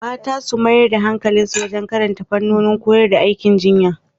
Mata su mayar da hankali wajen karanta fannin koyar da aikin jinya.